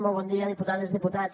molt bon dia diputades diputats